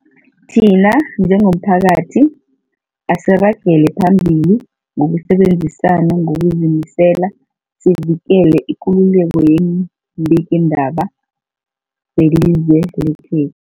Thina njengomphakathi, asiragele phambili ngokusebenzisana ngokuzimisela sivikele ikululeko yeembikiindaba zelizwe lekhe